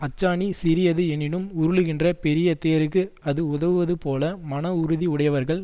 அச்சாணி சிறியது எனினும் உருளுகின்ற பெரிய தேருக்கு அது உதவுவது போல மன உறுதி உடையவர்கள்